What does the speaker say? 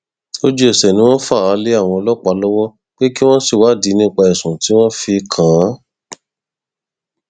lójúẹsẹ ni wọn fà á lé àwọn ọlọpàá lọwọ pé kí wọn ṣèwádìí nípa ẹsùn tí wọn fi kàn án